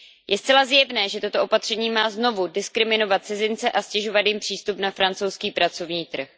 Je zcela zjevné, že toto opatření má znovu diskriminovat cizince a ztěžovat jim přístup na francouzský pracovní trh.